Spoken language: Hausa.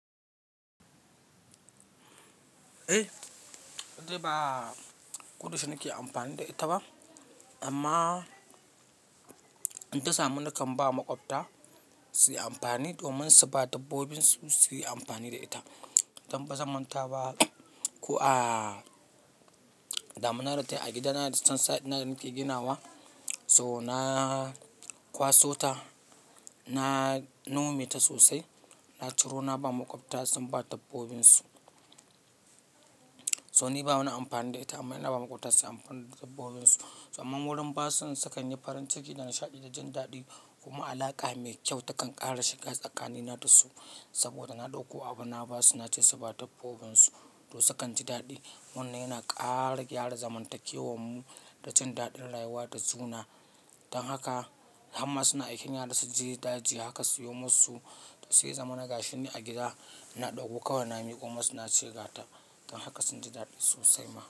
Eh, dai ba kodayaushe nake amfani da ita ba amma in ta samu nakan ba maƙwabta su yi amfani domin su ba dabbobinsu su yi amfani da ita. Dan ba zaman ta ba. Ko a daminadata a gidana da sansa ɗina nake ginawa, so na kwaso ta, na nome ta sosai, na ciro na ba maƙwabta sun ba dabbobinsu. So ni ba wani amfani da ita amma ina ba maƙwabta su yi amfani da dabbobinsu. Soamman wurin basun sukanyi farin ciki da nishaɗi da jin daɗi kuma alaƙa mai kyau takan ƙara shiga tsakani na da su saboda na ɗauko abu na ba su na ce su ba dabbobinsu to sukan ji daɗi. Wannan yana ƙara gyara zamantakewar mu da jin daɗin rayuwa da juna. Dan haka har ma suna aiken yara su je daji haka, siyomosu su yi zama na gashi ni a gida. Na ɗauko kawai na miƙo masu na cega ta, dan haka sun ji daɗi sosai mana.